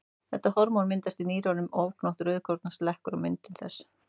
Þetta hormón myndast í nýrunum og ofgnótt rauðkorna slekkur á myndun þess.